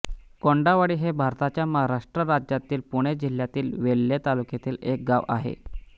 कोंढावळी हे भारताच्या महाराष्ट्र राज्यातील पुणे जिल्ह्यातील वेल्हे तालुक्यातील एक गाव आहे